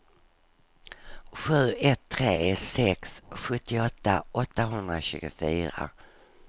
sju ett tre sex sjuttioåtta åttahundratjugofyra